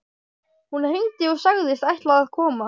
Hún hringdi og sagðist ætla að koma.